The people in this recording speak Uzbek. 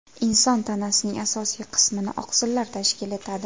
Inson tanasining asosiy qismini oqsillar tashkil etadi.